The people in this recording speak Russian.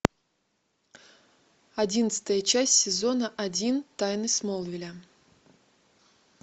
одиннадцатая часть сезона один тайны смолвиля